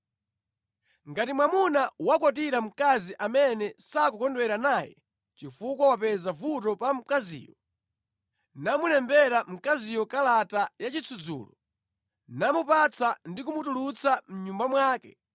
Ngati mwamuna wakwatira mkazi amene sakukondwera naye chifukwa wapeza vuto pa mkaziyo, namulembera mkaziyo kalata ya chisudzulo, namupatsa ndi kumutulutsa mʼnyumba mwake,